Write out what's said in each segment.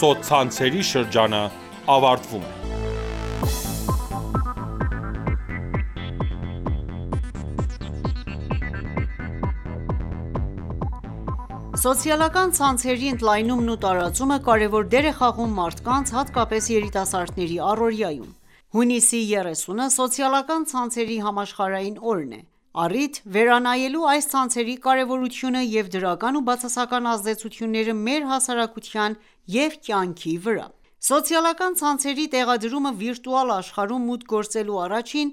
Սոցցանցերի դարաշրջանը ավարտվում է Սոցիալական ցանցերի ընդլայնումն ու տարածումը կարևոր դեր է խաղում մարդկանց, հատկապես երիտասարդների առօրյայում: Հունիսի 30-ը Սոցիալական ցանցերի համաշխարհային օրն է առիթ ՝ վերանայելու այս ցանցերի կարևորությունը և դրական ու բացասական ազդեցությունները մեր հասարակության և կյանքի վրա: Սոցիալական ցանցերի տեղադրումը վիրտուալ աշխարհ մուտք գործելու առաջին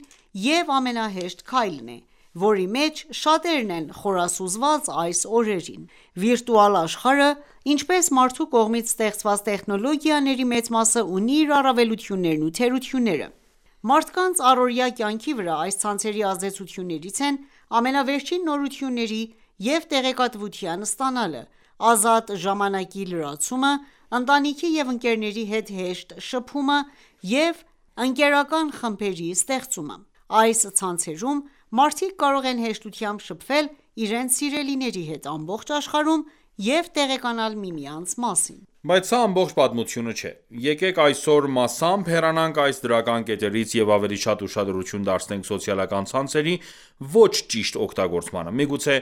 և ամենահեշտ քայլն է, որի մեջ շատերն են խորասուզված այս օրերին: Վիրտուալ աշխարհը, ինչպես մարդու կողմից ստեղծված տեխնոլոգիաների մեծ մասը, ունի իր առավելություններն ու թերությունները: Մարդկանց առօրյա կյանքի վրա այս ցանցերի ազդեցություններից են՝ ամենավերջին նորությունների և տեղեկատվության ստանալը, ազատ ժամանակի լրացումը, ընտանիքի և ընկերների հետ հեշտ շփումը և ընկերական խմբերի ստեղծումը: Այս ցանցերում մարդիկ կարող են հեշտությամբ շփվել իրենց սիրելիների հետ ամբողջ աշխարհում և տեղեկանալ միմյանց մասին: Բայց սա ամբողջ պատմությունը չէ: Եկեք այսօր մասամբ հեռանանք այս դրական կետերից և ավելի շատ ուշադրություն դարձնենք սոցիալական ցանցերի ոչ ճիշտ օգտագործմանը։ Միգուցե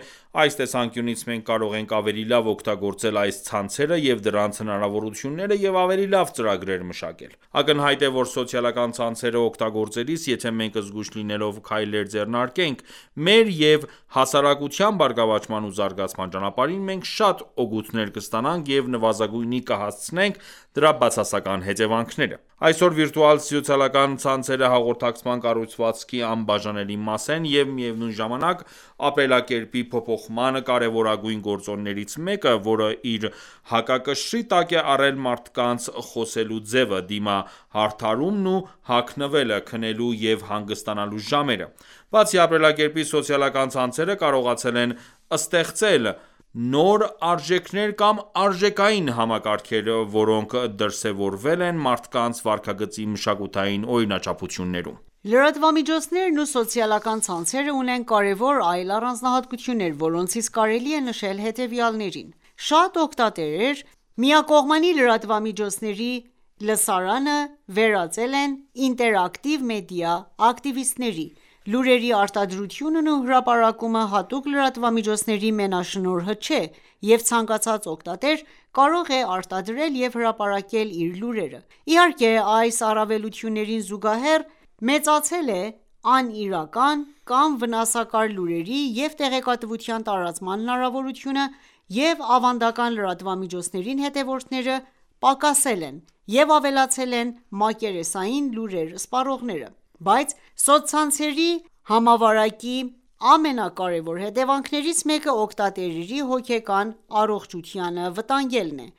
այս տեսանկյունից մենք կարող ենք ավելի լավ օգտագործել այս ցանցերը և դրանց հնարավորությունները և ավելի լավ ծրագրեր մշակել: Ակնհայտ է, որ սոցիալական ցանցերը օգտագործելիս, եթե մենք զգույշ լինելով քայլեր ձեռնարկենք մեր և հասարակության բարգավաճման ու զարգացման ճանապարհին, մենք շատ օգուտներ կստանանք և նվազագույնի կհասցնենք դրա բացասական հետևանքները։ Այսօր վիրտուալ սոցիալական ցանցերը հաղորդակցման կառուցվածքի անբաժանելի մասն են և միևնույն ժամանակ ապրելակերպի փոփոխման կարևորագույն գործոններից մեկը, որը իր հակակշռի տակ է առել մարդկանց խոսելու ձևը, դիմահարդարումն ու հագնվելը, քնելու և հանգստանալու ժամերը: Բացի ապրելակերպից, սոցիալական ցանցերը կարողացել են ստեղծել նոր արժեքներ կամ արժեքային համակարգեր, որոնք դրսևորվել են մարդկանց վարքագծի մշակութային օրինաչափություններում։ Լրատվամիջոցներն ու սոցիալական ցանցերը ունեն կարևոր այլ առանձնահատկություններ, որոնցից կարելի է նշել հետևյալներին՝.«Շատ օգտատերեր միակողմանի լրատվամիջոցների լսարանը վերածել են ինտերակտիվ մեդիա ակտիվիստների, լուրերի արտադրությունն ու հրապարակումը հատուկ լրատվամիջոցների մենաշնորհը չէ, և ցանկացած օգտատեր կարող է արտադրել և հրապարակել իր լուրերը: Իհարկե, այս առավելություններին զուգահեռ մեծացել է անիրական կամ վնասակար լուրերի ու տեղեկատվության տարածման հնարավորությունը, և ավանդական լրատվամիջոցներին հետևողները պակասել են, և ավելացել են մակերեսային լուրեր սպառողները»։ Բայց սոցցանցերի համավարակի ամենակարեւոր հետևանքներից մեկը՝ օգտատերերի հոգեկան առողջությանը վտանգելն է։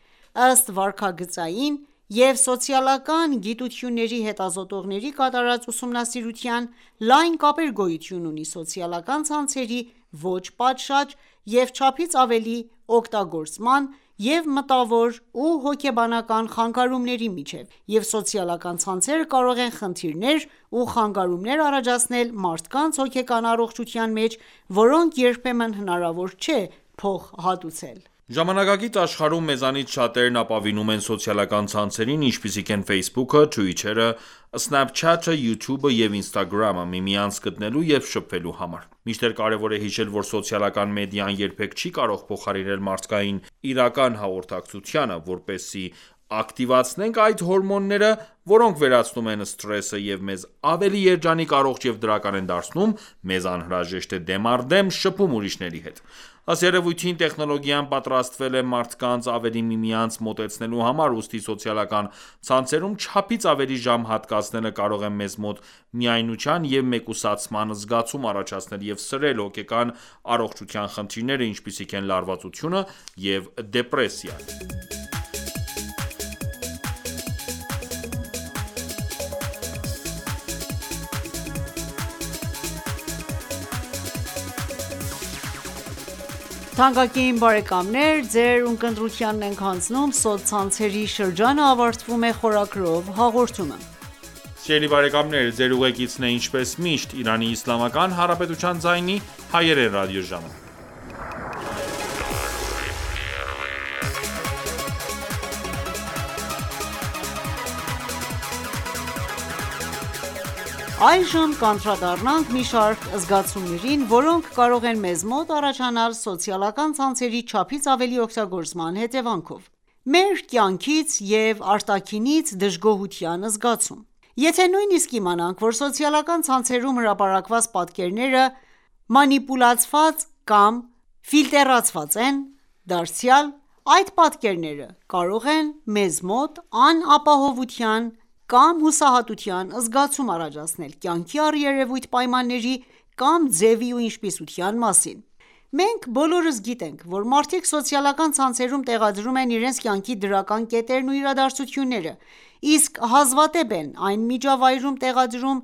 Ըստ վարքագծային և սոցիալական գիտությունների հետազոտողների կատարած ուսումնասիրության ,լայն կապեր գոյություն ունի սոցիալական ցանցերի ոչ պատշաճ և չափից ավելի օգտագործման և մտավոր ու հոգեբանական խանգարումների միջև, և սոցիալական ցանցերը կարող են խնդիրներ ու խանգարումներ առաջացնել մարդկանց հոգեկան առողջության մեջ, որոնք երբեմն հնարավոր չէ փոխհատուցել։ Ժամանակակից աշխարհում մեզանից շատերն ապավինում են սոցիալական ցանցերին, ինչպիսիք են Facebook-ը, Twitter-ը, Snapchat-ը, YouTube-ը և Instagram-ը՝ միմյանց գտնելու և շփվելու համար: Մինչդեռ կարևոր է հիշել, որ սոցիալական մեդիան երբեք չի կարող փոխարինել մարդկային իրական հաղորդակցությանը: Որպեսզի ակտիվացնենք այն հորմոնները, որոնք վերացնում են սթրեսը և մեզ ավելի երջանիկ, առողջ և դրական են դարձնում, մեզ անհրաժեշտ է դեմ առ դեմ շփում ուրիշների հետ: Ըստ երևույթին ,տեխնոլոգիան պատրաստվել է մարդկանց ավելի միմյանց մոտեցնելու համար, ուստի սոցիալական ցանցերում ,չափից ավելի ժամ հատկացնելը, կարող է մեզ մոտ միայնության և մեկուսացման զգացում առաջացնել, և սրել հոգեկան առողջության խնդիրները, ինչպիսիք են՝ լարվածությունը և դեպրեսիան: Այժմ կանդրադառնանք մի շարք զգացումներին, որոնք կարող են մեզ մոտ առաջանալ սոցիալական ցանցերի չափից ավելի օգտագործման հետևանքով: Մեր կյանքից և արտաքինից դժգոհության զգացում: Եթե նույնիսկ իմանանք ,որ սոցիալական ցանցերում հրապարակված պատկերները մանիպուլացված կամ ֆիլտրացված են, դարձյալ այդ պատկերները կարող են մեզ մոտ անապահովության կամ հուսահատության զգացում առաջացնել կյանքի առերևույթ պայմանների կամ ձևի ու ինչպիսության մասին: Մենք բոլորս գիտենք, որ մարդիկ սոցիալական ցանցերում տեղադրում են իրենց կյանքի դրական կետերն ու իրադարձությունները, իսկ հազվադեպ են այդ միջավայրում տեղադրում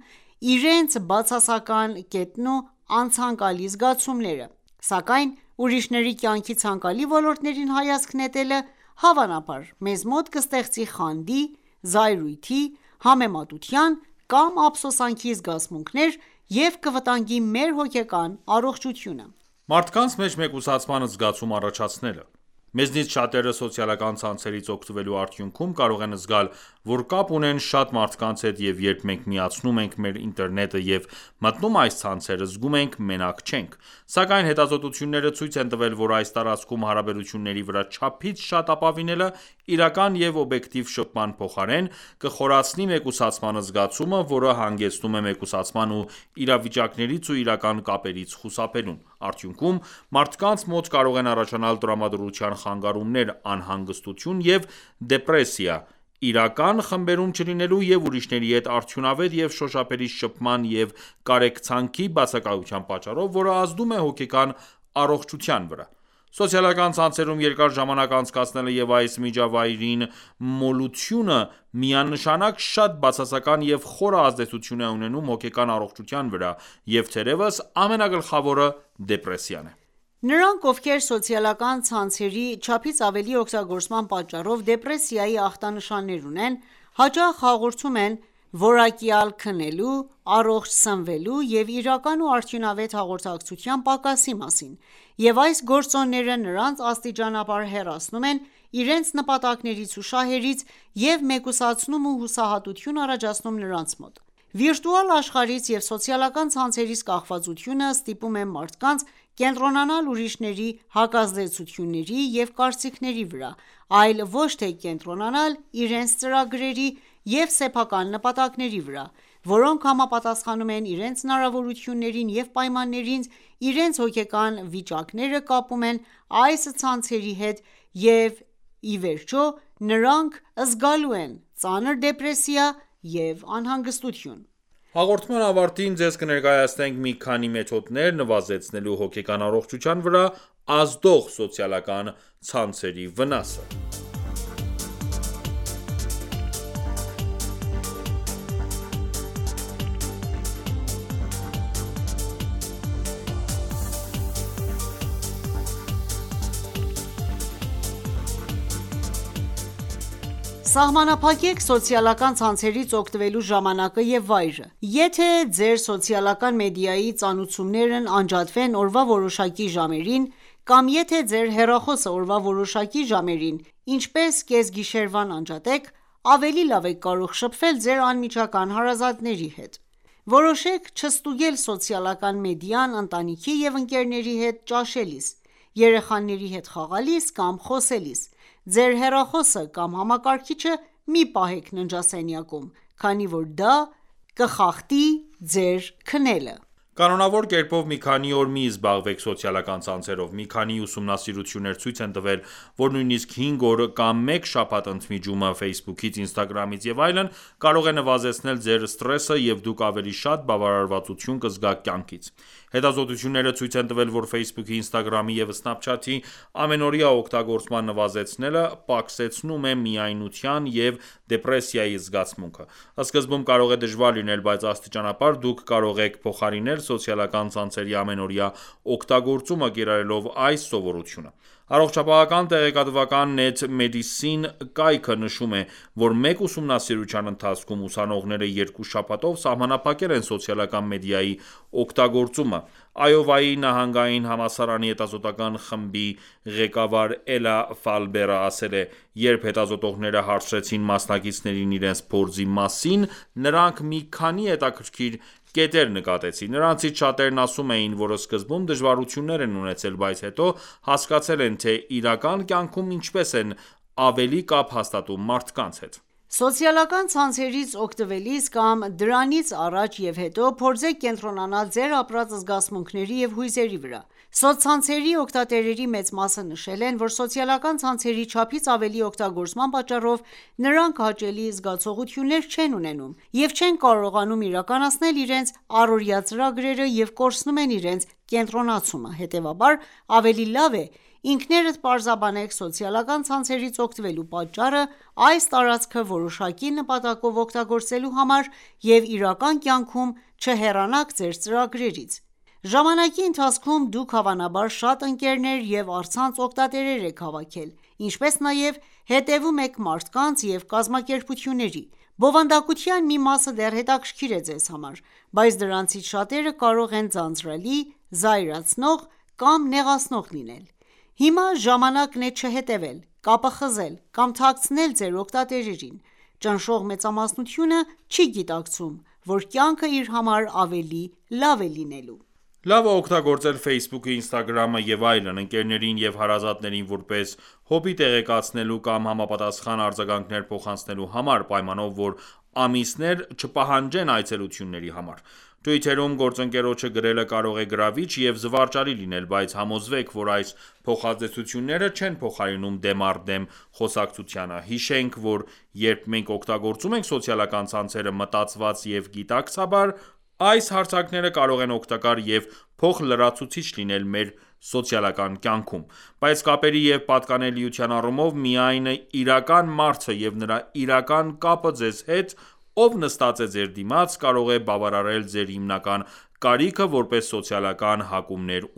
իրենց բացասական կետերն ու անցանկալի զգացումները, սակայն ուրիշների կյանքի ցանկալի ոլորտներին հայացք նետելը ,հավանաբար մեզ մոտ կստեղծի խանդի, զայրույթի, համեմատության կամ ափսոսանքի զգացմունքներ և կվտանգի մեր հոգեկան առողջությունը: Մարդկանց մեջ մեկուսացման զգացում առաջացնելը: Մեզնից շատերը սոցիալական ցանցերից օգտվելու արդյունքում կարող են զգալ ,որ կապ ունեն շատ մարդկանց հետ և երբ մենք միացնում ենք մեր ինտերնետը և մտնում այս ցանցեր, զգում ենք մենակ չենք։ Սակայն հետազոտությունները ցույց են տվել, որ այս տարածքում հարաբերությունների վրա չափից շատ ապավինելը՝ իրական և օբյեկտիվ շփման փոխարեն, կխորացնի մեկուսացման զգացումը, որը հանգեցնում է մեկուսացման ու իրավիճակներից ու իրական կապերից խուսափելուն։ Արդյունքում՝ մարդկանց մոտ կարող են առաջանալ տրամադրության խանգարումներ, անհանգստություն և դեպրեսիա՝ իրական խմբերում չլինելու և ուրիշների հետ արդյունավետ և շոշափելի շփման և կարեկցանքի բացակայության պատճառով ,որը ազդում է հոգեկան առողջության վրա։ Սոցիալական ցանցերում երկար ժամանակ անցկացնելը և այս միջավայրին մոլությունը միանշանակ շատ բացասական և խորը ազդեցություն է ունենում հոգեկան առողջության վրա, և թերևս ամենագլխավորը դեպրեսիան է։ Նրանք, ովքեր սոցիալական ցանցերի չափից ավելի օգտագործման պատճառով դեպրեսիայի ախտանիշներ ունեն, հաճախ հաղորդում են որակյալ քնելու, առողջ սնվելու և իրական ու արդյունավետ հաղորդակցության պակասի մասին, և այս գործոնները նրանց աստիճանաբար հեռացնում են իրենց նպատակներից ու շահերից և մեկուսացնում ու հուսահատություն առաջացնում նրանց մոտ։ Վիրտուալ աշխարհից և սոցիալական ցանցերից կախվածությունը ստիպում է մարդկանց կենտրոնանալ ուրիշների հակազդեցությունների և կարծիքների վրա, այլ ոչ թե կենտրոնանալ իրենց ծրագրերի և սեփական նպատակների վրա, որոնք համապատասխանում են իրենց հնարավորություններին և պայմաններին, իրենց հոգեկան վիճակները կապում են այս ցանցերի հետ և ի վերջո նրանք զգալու են ծանր դեպրեսիա և անհանգստություն: Հաղորդման ավարտին ձեզ կներկայացնենք մի քանի մեթոդներ՝ նվազեցնելու հոգեկան առողջության վրա ազդող սոցիալական ցանցերի վնասը ։ Սահմանափակեք սոցիալական ցանցերից օգտվելու ժամանակը և վայրը: Եթե ձեր սոցիալական մեդիայի ծանուցումներն անջատվեն օրվա որոշակի ժամերին, կամ եթե ձեր հեռախոսը օրվա որոշակի ժամերին, ինչ պես գիշերվան անջատեք ,ավելի լավ եք կարող շփվել ձեր անմիջական հարազատների հետ: Որոշեք չստուգել սոցիալական մեդիան ընտանիքի և ընկերների հետ ճաշելիս, երեխաների հետ խաղալիս կամ խոսելիս: Ձեր հեռախոսը կամ համակարգիչը մի պահեք ննջասենյակում, քանի որ դա կխախտի ձեր քնելը: Կանոնավոր կերպով մի քանի օր մի զբաղվեք սոցիալական ցանցերով: Մի քանի ուսումնասիրություններ ցույց են տվել, որ նույնիսկ հինգ օր կամ մեկ շաբաթ ընդմիջումը Facebook-ից, Instagram-ից և այլն կարող է նվազեցնել ձեր սթրեսը և դուք ավելի շատ բավարարվածություն կզգաք կյանքից: Հետազոտությունները ցույց են տվել, որ Facebook-ի, Instagram-ի և Snapchat-ի ամենօրյա օգտագործման նվազեցնելը ,պակսեցնում է միայնության և դեպրեսիայի զգացմունքը: Սկզբում կարող է դժվար լինել, բայց աստիճանաբար դուք կարող եք փոխարինել սոցիալական ցանցերի ամենօրյա օգտագործումը՝ կիրառելով այս սովորությունը ։ Առողջապահական տեղեկատվական «Net Medicine» կայքը նշում է, որ մեկ ուսումնասիրության ընթացքում ուսանողները երկու շաբաթով սահմանափակել են սոցիալական մեդիայի օգտագործումը։ Այովայի նահանգային համալսարանի հետազոտական խմբի ղեկավար Էլա Ֆալբերը ասել է.« Երբ հետազոտողները հարցրեցին մասնակիցներին իրենց փորձի մասին, նրանք մի քանի հետաքրքիր կետեր նկատեցին: Նրանցից շատերն ասում էին, որ սկզբում դժվարություններ են ունեցել, բայց հետո հասկացել են, թե ՝իրական կյանքում ինչպես են ավելի կապ հաստատում մարդկանց հետ»: Սոցիալական ցանցերից օգտվելիս կամ դրանից առաջ և հետո, փորձեք կենտրոնանալ ձեր ապրած զգացմունքների և հույզերի վրա։ Սոցցանցերի օգտատերերի մեծ մասը նշել են, որ սոցիալական ցանցերի չափից ավելի օգտագործման պատճառով նրանք հաճելի զգացողություններ չեն ունենում և չեն կարողանում իրականացնել իրենց առօրյա ծրագրերը և կորցնում են իրենց կենտրոնացումը: Հետևաբար, ավելի լավ է ինքներդ պարզաբանեք սոցիալական ցանցերից օգտվելու պատճառը՝ այս տարածքը որոշակի նպատակով օգտագործելու համար և իրական կյանքում չհեռանաք ձեր ծրագրերից: Ժամանակի ընթացքում դուք հավանաբար շատ ընկերներ և առցանց օգտատերեր եք հավաքել, ինչպես նաև հետևում եք մարդկանց և կազմակերպությունների: Բովանդակության մի մասը դեռ հետաքրքիր է ձեզ համար, բայց դրանցից շատերը կարող են ձանձրալի, զայրացնող կամ նեղացնող լինել: Հիմա ժամանակն է չհետևել, կապը խզել կամ թաքցնել ձեր օգտատերերին: Ճնշող մեծամասնությունը չի գիտակցում, որ կյանքը իր համար ավելի լավ է լինելու: Լավ է օգտագործել Facebook-ը, Instagram-ը և այլն՝ ընկերներին և հարազատներին որպես հոբբի տեղեկացնելու կամ համապատասխան արձագանքներ փոխանցելու համար, պայմանով որ ամիսներ չպահանջեն այցելությունների համար: Թվիթերում գործընկերոջը գրելը կարող է գրավիչ և զվարճալի լինել, բայց համոզվեք, որ այս փոխազդեցությունները չեն փոխարինում դեմ առ դեմ խոսակցությանը: Հիշենք, որ երբ մենք օգտագործում ենք սոցիալական ցանցերը մտածված և գիտակցաբար, այս հարթակները կարող են օգտակար և փոխլրացուցիչ լինել մեր սոցիալական կյանքում: Բայց կապերի և պատկանելիության առումով, միայն իրական մարդը և նրա իրական կապը ձեզ հետ, ով նստած է ձեր դիմաց, կարող է բավարարել ձեր հիմնական կարիքը որպես սոցիալական հակումներ